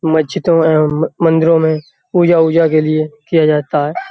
मज्जिदों एवम् मंदिरों में पूजा उजा के लिए किया जाता है।